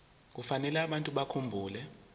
kufanele abantu bakhumbule